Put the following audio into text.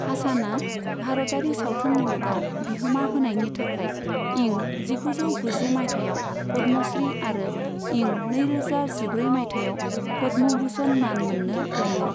हासानआ भारतारि सावथुन मुलुगाव बिहोमा होनायनि थाखाय इं जिगुजौ गुजि माइथायाव पद्मश्री आरो इं नैरोजा जिब्रै माइथायाव पद्म भुषण मान मोननो हायो।